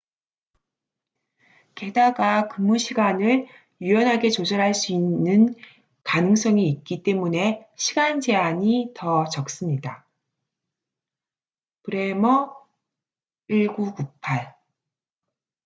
게다가 근무 시간을 유연하게 조절할 수 있는 가능성이 있기 때문에 시간제한이 더 적습니다 bremer 1998